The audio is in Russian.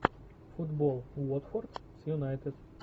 футбол уотфорд с юнайтед